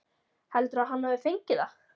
Heldurðu að hann hafi fengið það?